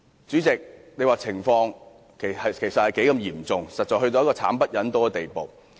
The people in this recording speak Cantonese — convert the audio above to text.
主席，這種情況實已嚴重至慘不忍睹的地步。